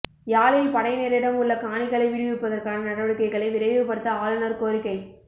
யாழில் படையினரிடம் உள்ள காணிகளை விடுவிப்பதற்கான நடவடிக்கைகளை விரைவுபடுத்த ஆளுநர் கோரிக்கை